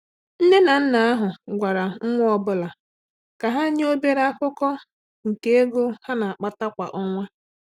Nne na nna ahụ gwara nwa ọ bụla ka ha nye obere akụkụ nke ego ha na-akpata kwa ọnwa.